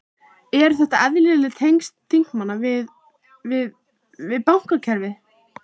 Eru þetta eðlileg tengsl þingmanna við, við, við bankakerfið?